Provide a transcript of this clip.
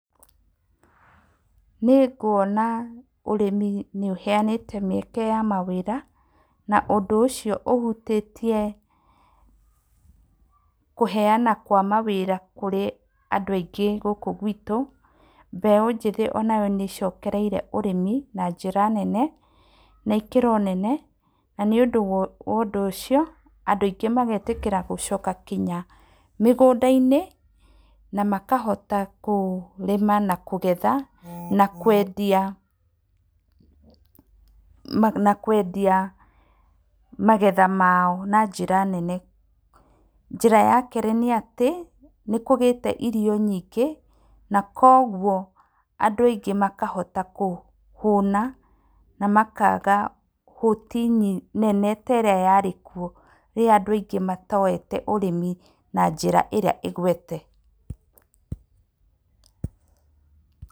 Nĩ nguona ũrĩmi nĩ ũheyanĩte mĩeke ya mawĩra, na ũndũ ũcio ũhutĩtie, kũheyana kwa mawĩra kũrĩ andũ aingĩ gũkũ gwitũ, mbeũ njĩthĩ onayo nĩ icokereire ũrĩmi na njĩra nene, na ikĩro nene, na nĩ ũndũ wa wa ũndũ ũcio, andũ aingĩ magetĩkĩra gũcoka nginya mĩgũnda-inĩ, na makahota kũrĩma na kũgetha, na kwendia, ma na kwendia, magetha mao, na njĩra nene, njĩra ya kerĩ nĩ atĩ, nĩ kũgĩte irio nyingĩ, na koguo andũ aingĩ makahotana kũhũna, na makaga hũti nyi, nene ta ĩrĩa yarĩ kuo, rĩrĩa andũ aingĩ matoyete ũrĩmi na njĩra ĩrĩa ĩgwete.